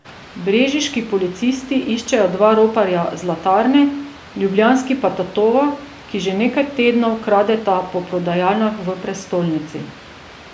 Brežiški policisti iščejo dva roparja zlatarne, ljubljanski pa tatova, ki že nekaj tednov kradeta po prodajalnah v prestolnici.